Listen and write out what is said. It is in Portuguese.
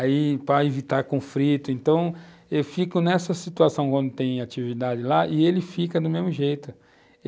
Aí, para evitar conflito, então, eu fico nessa situação quando tem atividade lá, e ele fica do mesmo jeito.